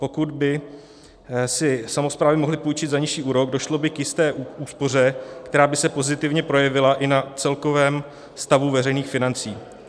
Pokud by si samosprávy mohly půjčit za nižší úrok, došlo by k jisté úspoře, která by se pozitivně projevila i na celkovém stavu veřejných financí.